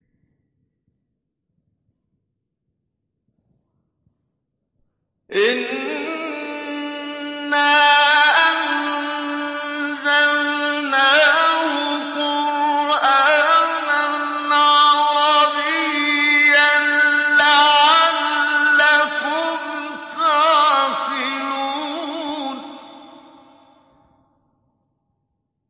إِنَّا أَنزَلْنَاهُ قُرْآنًا عَرَبِيًّا لَّعَلَّكُمْ تَعْقِلُونَ